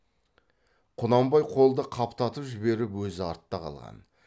құнанбай қолды қаптатып жіберіп өзі артта қалған